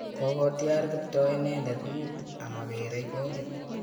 Kokotyar Kiptoo inendet mut amakerey kolit